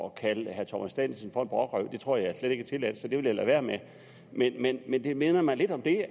at kalde herre thomas danielsen for en brokrøv det tror jeg slet ikke er tilladt så det vil jeg lade være med men det minder mig lidt om det